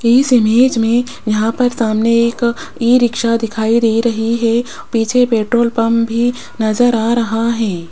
इस इमेज में यहां पर सामने एक ई_रिक्शा दिखाई दे रही है पीछे पेट्रोल पंप भी नजर आ रहा है।